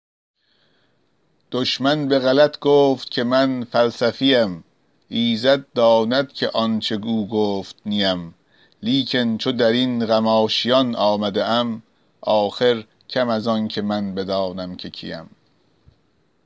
دشمن به غلط گفت که من فلسفی ام ایزد داند که آنچه او گفت نی ام لیکن چو در این غم آشیان آمده ام آخر کم از آنکه من بدانم که کی ام